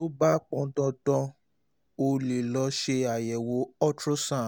tó bá pọn dandan o um lè lọ ṣe àyẹ̀wò ultrasound